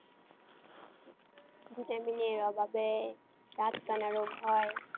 vitamin A র অভাবে রাতকানা রোগ হয়।